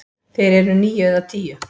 Þeir eru níu eða tíu.